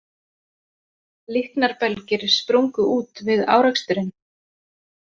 Líknarbelgir sprungu út við áreksturinn